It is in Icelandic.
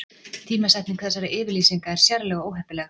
Tímasetning þessara yfirlýsinga er sérlega óheppileg